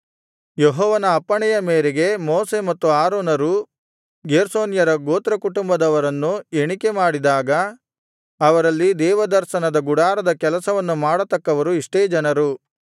ಯೆಹೋವನ ಅಪ್ಪಣೆಯ ಮೇರೆಗೆ ಮೋಶೆ ಮತ್ತು ಆರೋನರು ಗೇರ್ಷೋನ್ಯರ ಗೋತ್ರಕುಟುಂಬದವರನು ಎಣಿಕೆಮಾಡಿದಾಗ ಅವರಲ್ಲಿ ದೇವದರ್ಶನದ ಗುಡಾರದ ಕೆಲಸವನ್ನು ಮಾಡತಕ್ಕವರು ಇಷ್ಟೇ ಜನರು